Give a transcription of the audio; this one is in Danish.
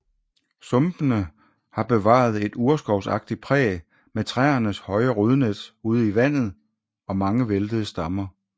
Sumpene har bevaret et urskovsagtigt præg med træernes høje rodnet ude i vandet og mange væltede stammer